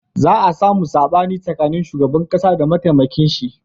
Za a samu saɓani tsakanin shugaban ƙasa da mataimakin shi